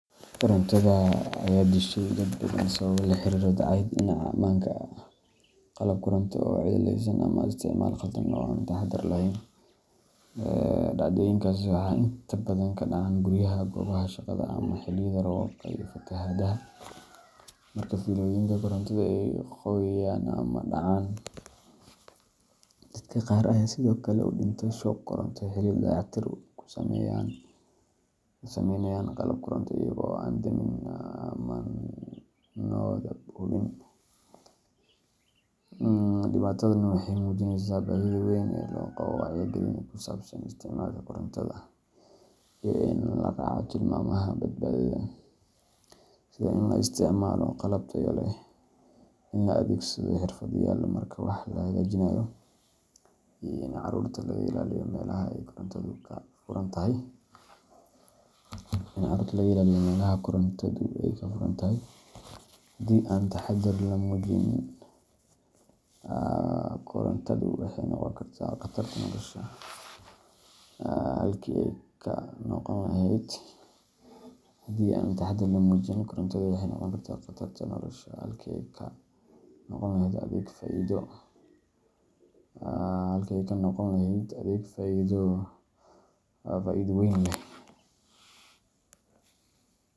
Korontada ayaa dishay dad badan sababo la xiriira dayacaad dhinaca ammaanka ah, qalab koronto oo cilladaysan, ama isticmaal khaldan oo aan taxaddar lahayn. Dhacdooyinkaas waxay inta badan ka dhacaan guryaha, goobaha shaqada, ama xilliyada roobabka iyo fatahaadaha marka fiilooyinka korontada ay qoyaan ama dhacaan. Dadka qaar ayaa sidoo kale u dhinta shoog koronto xilli ay dayactir ku sameynayaan qalab koronto iyaga oo aan damin amaanadooda hubin. Dhibaatadan waxay muujinaysaa baahida weyn ee loo qabo wacyigelin ku saabsan isticmaalka korontada iyo in la raaco tilmaamaha badbaadada, sida in la isticmaalo qalab tayo leh, in la adeegsado xirfadlayaal marka wax la hagaajinayo, iyo in carruurta laga ilaaliyo meelaha ay korontadu ka furan tahay. Haddii aan taxaddar la muujin, korontadu waxay noqon kartaa qatarta nolosha halkii ay ka noqon lahayd adeeg faa’iido weyn leh.